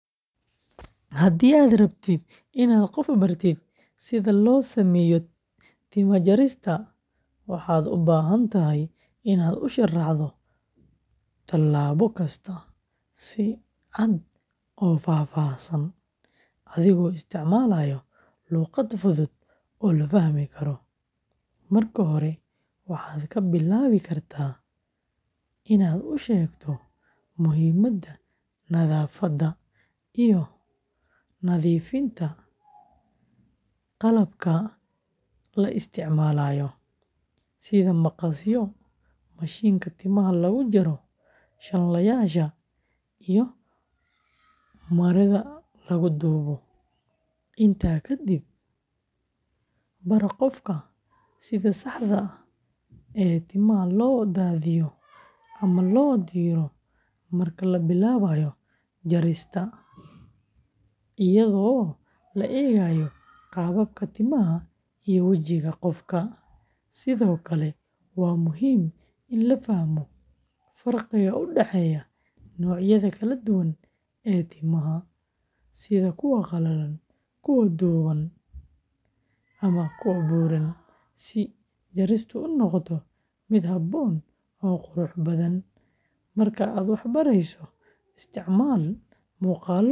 Haddii aad rabto inaad qof bartid sida loo sameeyo timaha jarista, waxaad u baahan tahay inaad u sharaxdo tallaabo kasta si cad oo faahfaahsan, adigoo isticmaalaya luqad fudud oo la fahmi karo. Marka hore, waxaad ka bilaabi kartaa inaad u sheegto muhiimadda nadaafadda iyo nadiifinta qalabka la isticmaalayo, sida maqasyo, mashiinka timaha lagu jaro, shanlo, iyo maro lagu duubo. Intaa kadib, bar qofka sida saxda ah ee timaha loo daadasho ama loo diro marka la bilaabayo jarista, iyadoo loo eegayo qaabka timaha iyo wejiga qofka. Sidoo kale, waa muhiim in la fahmo farqiga u dhexeeya noocyada kala duwan ee timaha, sida kuwa qalalan, dhuuban ama buuran, si jaristu u noqoto mid habboon oo qurux badan. Markaad wax barayso, isticmaal muuqaallo ama tijaabooyin.